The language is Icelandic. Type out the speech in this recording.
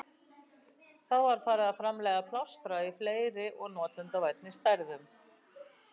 Þá var farið að framleiða plástra í fleiri og notendavænni stærðum.